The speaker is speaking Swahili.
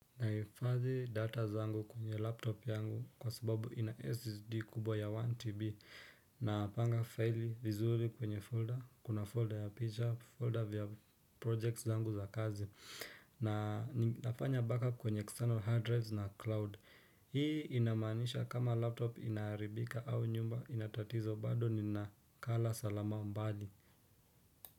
Naifadhi data zangu kwenye laptop yangu kwa sababu ina SSD kubwa ya 1TB na panga file vizuli kwenye folder kuna folder ya picture folder vya projects zangu za kazi na nafanya backup kwenye external hard drives na cloud hii inamanisha kama laptop inaharibika au nyumba inatatizo bado ni nakala salama mbali.